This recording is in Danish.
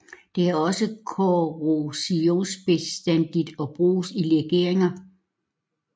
Det er også korrosionsbestandigt og bruges i legeringer